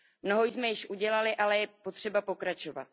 Mnoho jsme již udělali, ale je potřeba pokračovat.